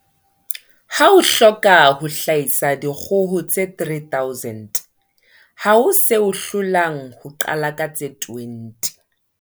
Ha o hloka ho hlahisa dikgoho tse 3 000, ha ho se o hlolang ho qala ka tse 20.